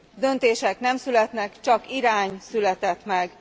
Döntések nem születnek, csak irány született meg.